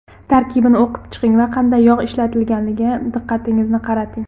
Tarkibini o‘qib chiqing va qanday yog‘ ishlatilganiga diqqatingizni qarating.